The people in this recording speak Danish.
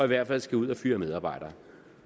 hvert fald skal ud at fyre medarbejdere